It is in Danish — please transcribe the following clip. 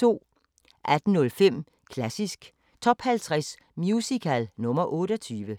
18:05: Klassisk Top 50 Musical – nr. 28